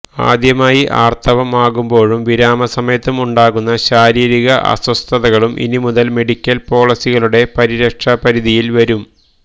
ആദ്യമായി ആർത്തവം ആകുമ്പോഴും വിരാമ സമയത്തും ഉണ്ടാകുന്ന ശാരീരിക അസ്വസ്ഥതകളും ഇനി മുതൽ മെഡിക്കൽ പോളിസികളുടെ പരിരക്ഷാപരിധിയിൽ വരും